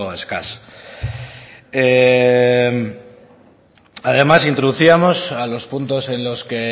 escaso además introducíamos a los puntos en los que